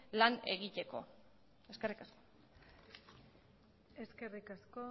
lan egiteko eskerrik asko eskerrik asko